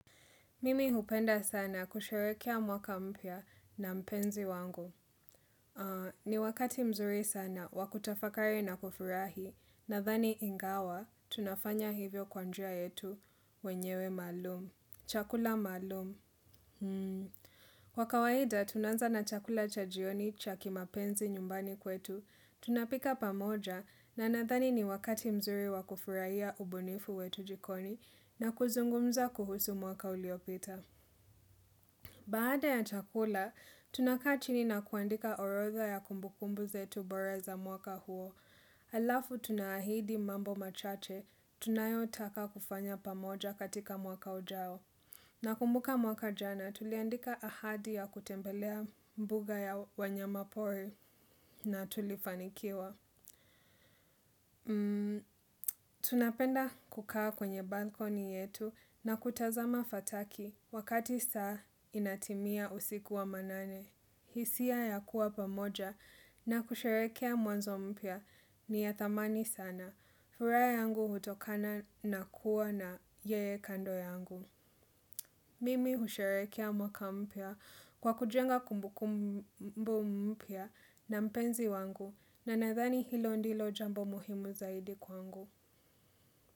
Mimi hupenda sana kusherehekea mwaka mpya na mpenzi wangu. Ni wakati mzuri sana wa kutafakari na kufurahi nadhani ingawa tunafanya hivyo kwa njia yetu wenyewe malum. Chakula maalum. Kwa kawaida tunaanza na chakula cha jioni cha ki mapenzi nyumbani kwetu. Tunapika pamoja na nadhani ni wakati mzuri wa kufurahia ubunifu wetu jikoni na kuzungumza kuhusu mwaka uliopita. Baada ya chakula, tunakaa chini na kuandika orodha ya kumbukumbu zetu bora za mwaka huo. Alafu tunaahidi mambo machache, tunayotaka kufanya pamoja katika mwaka ujao. Nakumbuka mwaka jana, tuliandika ahadi ya kutembelea mbuga ya wanyamapori na tulifanikiwa. Tunapenda kukaa kwenye balcony yetu na kutazama fataki wakati saa inatimia usiku wa manane. Baada ya chakula, tunakaa chini na kuandika orodha ya kumbukumbu zetu bora za mwaka huo. Alafu tuna ahidi mambo machache, tunayotaka kufanya pamoja katika mwaka ujao. Nakumbuka mwaka jana, tuliandika ahadi ya kutembelea mbuga ya wanyama pori na tulifanikiwa.